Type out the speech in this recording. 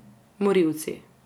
Morilci.